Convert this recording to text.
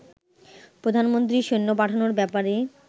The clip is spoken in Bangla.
প্রধানমন্ত্রী সৈন্য পাঠানোর ব্যাপারে